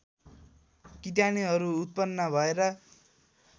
किटाणुहरू उत्पन्न भएर